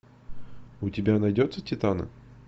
у тебя найдется титаны